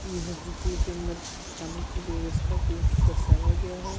यह होटल की अन्दर खाने की व्यवस्था को दर्शाया गया है।